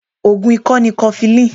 Ogùn ikọ ni kofilini.